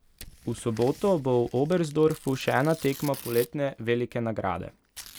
V soboto bo v Oberstdorfu še ena tekma poletne velike nagrade.